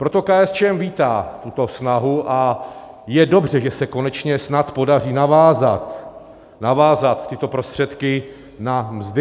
Proto KSČM vítá tuto snahu a je dobře, že se konečně snad podaří navázat tyto prostředky na mzdy.